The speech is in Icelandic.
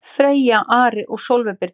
Freyr, Ari og Sólveig Birna.